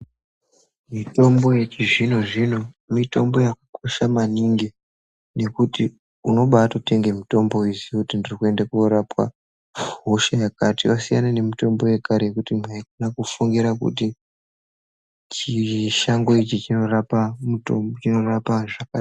Mitombo yechizvino zvino mitombo yakakosha maningi nekuti unobatotenge mutombo weiziye kuti ndiri kuenda korapwa hosha yakati. Wasiyana nemutombo yekare yekuti mwaida kufungira kuti chishango ichi chinorapa muto.. chinorapa zvakati.